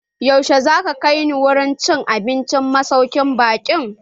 Yaushe za ka kai ni wurin cin abincin masaukin baƙin can?